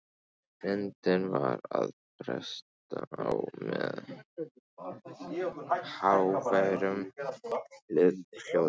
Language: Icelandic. Myndin var að bresta á með háværum hljóðum.